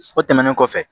O tɛmɛnen kɔfɛ